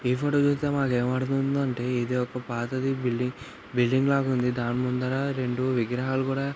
ఈ ఫోటో చూస్తే మనకు ఎం అర్థం అయ్యిందంటే ఇది ఒక పాతది బిల్డింగ్ బిల్డింగ్ లాగుంది దాని ముందర రెండు విగ్రహాలు కూడా --